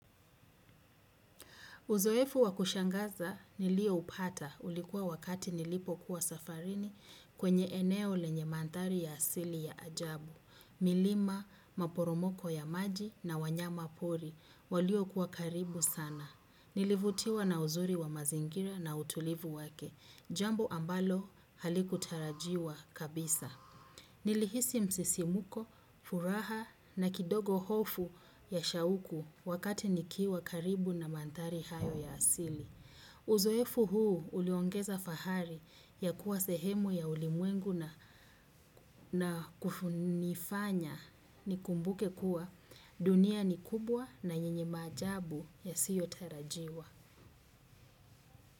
Uzoefu wa kushangaza niliyoupata ulikuwa wakati nilipokuwa safarini kwenye eneo lenye mandhari ya asili ya ajabu. Milima, maporomoko ya maji na wanyama pori walio kuwa karibu sana. Nilivutiwa na uzuri wa mazingira na utulivu wake. Jambo ambalo halikutarajiwa kabisa. Nilihisi msisimko furaha na kidogo hofu ya shauku wakati nikiwa karibu na mandhari hayo ya asili. Uzoefu huu uliongeza fahari ya kuwa sehemu ya ulimwengu na kunifanya ni kumbuke kuwa dunia ni kubwa na yenye maajabu yasiyo tarajiwa.